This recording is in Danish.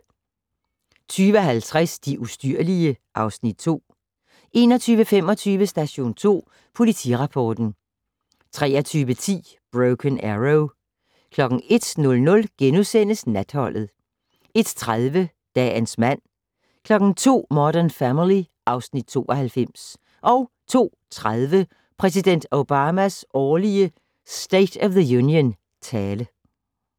20:50: De ustyrlige (Afs. 2) 21:25: Station 2 Politirapporten 23:10: Broken Arrow 01:00: Natholdet * 01:30: Dagens mand 02:00: Modern Family (Afs. 92) 02:30: Præsident Obamas årlige State of the Union-tale